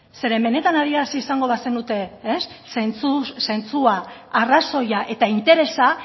benetan adierazi izango bazenute zentzua arrazoia eta interesa